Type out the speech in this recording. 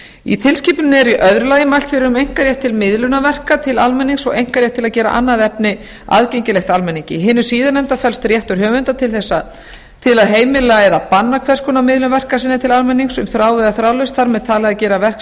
í tilskipuninni er í öðru lagi mælt með einkarétt til miðlunarverka til almennings og einkarétt til að gera annað efni aðgengilegt almenningi í hinu síðarnefnda felst réttur höfunda til að heimila eða banna hvers konar miðlun verka sinna til almennings um þráð eða þráðlaust þar með talið að gera verk